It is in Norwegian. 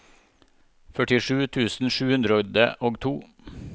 førtisju tusen sju hundre og to